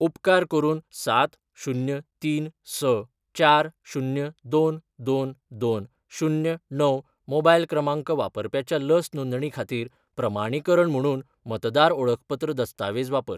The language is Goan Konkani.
उपकार करून सात, शुन्य, तीन, स, चार, शुन्य, दोन, दोन, दोन, शुन्य, णव मोबायल क्रमांक वापरप्याच्या लस नोंदणी खातीर प्रमाणीकरण म्हुणून मतदार ओळखपत्र दस्तावेज वापर.